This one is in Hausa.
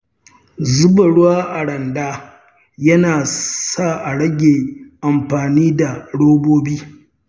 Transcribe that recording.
Zuba ruwa a randa yana sa a rage amfani da robobi.